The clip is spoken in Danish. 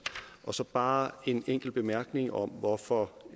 så bare en enkelt bemærkning om hvorfor